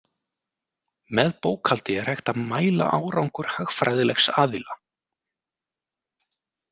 Með bókhaldi er hægt að mæla árangur hagfræðilegs aðila.